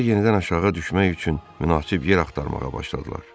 Sonra yenidən aşağı düşmək üçün münasib yer axtarmağa başladılar.